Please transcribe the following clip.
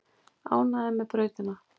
Ánægðir með brautina